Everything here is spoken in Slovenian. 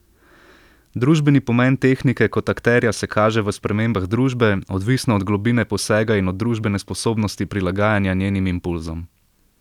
Družbeni pomen tehnike kot akterja se kaže v spremembah družbe, odvisno od globine posega in od družbene sposobnosti prilagajanja njenim impulzom.